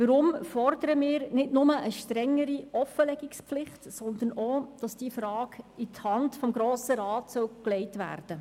Weshalb fordern wir nicht nur eine strengere Offenlegungspflicht, sondern auch, diese in die Hand des Grossen Rats zu legen?